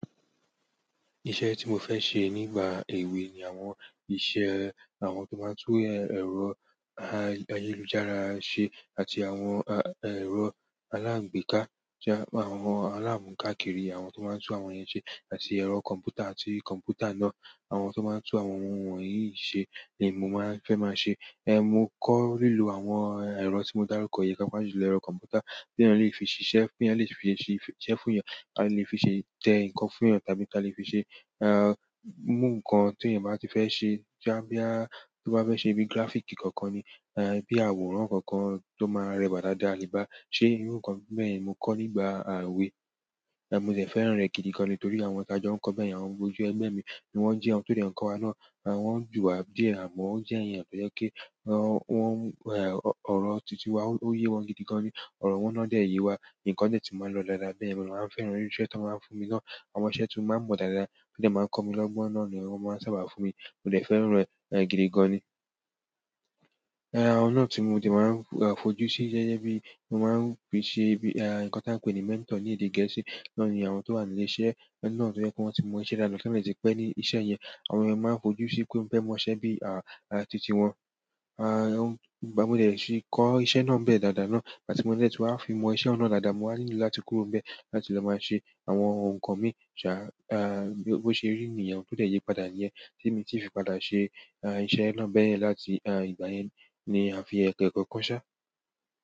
Iṣẹ́ tí mo fẹ́ ṣe nígbà èwe ni àwọn iṣẹ́ àwọn tó máa ń tú ẹ̀rọ ayélujára ṣe àti àwọn ẹ̀rọ aláǹgbéká, àwọn alámùkákìrì, àwọn tó máa ń tún àwọn yen ṣe àti ẹ̀rọ kọ̀m̀pútà àti kọ̀m̀pútà náà, àwọn tó máa ń tún àwọn ohun wọ̀nyí ṣe ni mo máa fẹ́ máa ṣe. Mo kọ́ lílo àwọn ẹ̀rọ tí mo dárúkọ yìí pápa jùlọ, ẹ̀rọ kọ̀m̀pútà tí eeyan lè fi ṣisé, tí eeyan lè fi ṣe iṣẹ́ fún èèyàn, à lè fi ṣe tẹ nǹkan fún èèyàn, tàbí kí a lè fi ṣe, iru nǹkan tí èèyàn báa ti fẹ́ ṣe, boya tó bá fẹ́ ṣe bíi graphic kankan ni, bí àwòrán kankan tó máa rẹwà dáadáa a le bá ṣé irú nǹkan bẹ́ẹ̀ yen ni mo kọ́ nígbà ewèé. Mò de fẹ́ràn rẹ̀ gidi gan ni torí àwọn ti ajo n kọ́ bẹ́yen, àwọn ọmọ ojú ẹgbẹ́ mi ni wọ́n jẹ, àwọn tó dẹ́ nkọ̀wa ná, wọn jù wá díẹ̀, àmọ́ ó jẹ́ èèyàn tojẹ́ pe, ọ̀rọ̀ tìti wá ó yé wọn gidi gan ni, ọ̀rọ̀ wọn náà dẹ̀ yé wa, nǹkan dẹ́ tí màá lọ́ dáadáa bẹ́ẹ̀yen mo de máa ń fẹ́ràn irú iṣẹ́ ti wón máa ń fún mi náà, àwọn iṣẹ́ tí mó máa ń mọ̀ dáadáa, tí o dè máa n kọ́ mi lọ́gbọ́n náà ni wọ́n máa ń sábà fún mi. Mo de fẹ́ràn e gidi gan ni ẹ̀, àwọn náà tí mo ti máa ń fojú sí gẹ́gẹ́ bí i, mo máa ń fi n ṣe bí i, à, nǹkan tí a ń pè ní "mentor" ní èdè Gẹ̀ẹ́sì náà ni àwọn tó wà nílé iṣẹ́ náà tó jẹ́ pé wọ́n ti mọ iṣẹ́ dànù ti wọ́n de ti pẹ́ ní iṣẹ́ yẹn. Àwọn èèyàn máa ń fojú sí pé wọn fẹ́ mọ iṣẹ́ bí i, à, tìtití wọn. À, ìgbà mo dẹ̀ ti kọ́ iṣẹ́ náà bẹ́ẹ̀ dáadáa náà, àti mo dẹ̀ ti wá fi mọ iṣẹ́ ohun na dáadáa, mo wá ni láti kúrò n bẹ́ẹ̀ láti lọ máa ṣe àwọn nǹkan mi ṣá, ah, bó ṣe rí niyen o tó dẹ̀ yé padà níyẹn tí mi tí fi padà ṣe, ah, iṣẹ́ na bẹ́yẹn láti, ah, ìgbà yẹn ni a fi ẹ̀kẹ́ kan ṣá.